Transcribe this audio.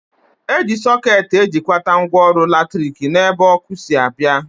Eji sọket ejikwata ngwaọrụ latrik n'ebe ọkụ si abịa